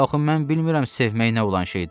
Axı mən bilmirəm sevmək nə olan şeydir.